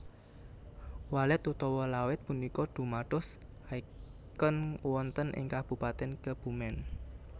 Walet utawa Lawet punika dumados icon wonten ing Kabupaten Kebumen